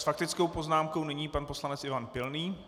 S faktickou poznámkou nyní pan poslanec Ivan Pilný.